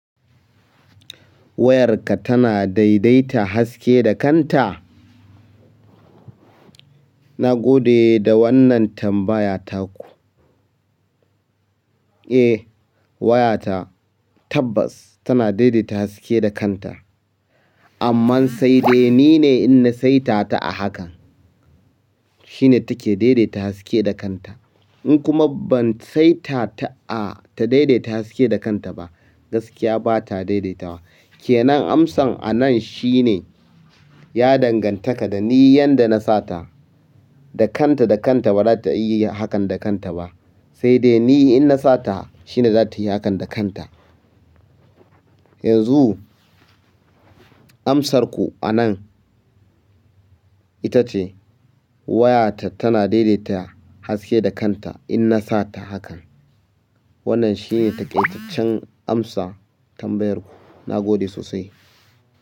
Wayarka tana daidaita haske da kanta? Na gode da wannan tambaya taku. Eh, wayata tabbas tana daidaita haske da kanta. Amma sai dai nine in na saita ta a hakan shine take daidaita haske da kanta. In kuma ban saita ta a ta daidaita haske da kanta ba, gaskiya bata daidaitawa. Kenan amsan a nan shine ya dangantaka da ni yanda na sata. Da kanta da kanta bata iya yi hakan da kanta ba. Sai dai ni in na sata shine zata yi hakan da kanta. Yanzu amsarku anan ita ce wayata tana daidaita haske da kanta in na sata hakan. Wannan shine taƙaitaccen amsa tambayarku. Na gode sosai.